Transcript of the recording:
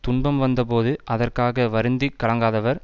துன்பம் வந்த போது அதற்க்காக வருந்தி கலங்காதவர்